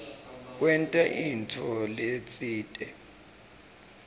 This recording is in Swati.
kwenta intfo letsite